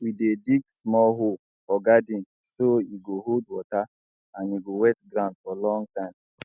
we dey dig small hole for garden so e go hold water and e go wet ground for long time